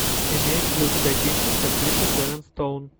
имеется ли у тебя кинчик с актрисой шэрон стоун